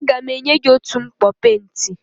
Aga m otu mkpọ penti.